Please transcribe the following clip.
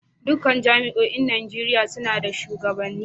Dukkan jami'oin Najeriya suna da shugabanni